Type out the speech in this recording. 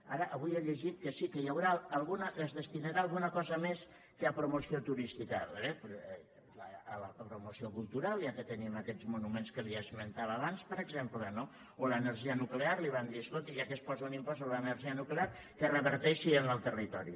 ara avui he llegit que sí que hi haurà es destinarà alguna cosa més que a promoció turística a veure a la promoció cultural ja que tenim aquests monuments que li esmentava abans per exemple no o l’energia nuclear li vam dir escolti ja que es posa un impost sobre l’energia nuclear que reverteixi en el territori